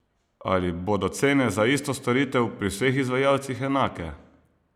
Ali bodo cene za isto storitev pri vseh izvajalcih enake?